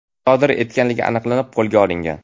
sodir etganligi aniqlanib, qo‘lga olingan.